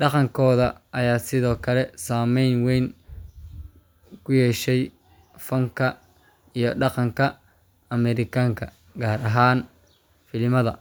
Dhaqankooda ayaa sidoo kale saameyn weyn ku yeeshay fanka iyo dhaqanka Ameerikaanka, gaar ahaan filimada.